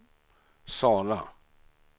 Sala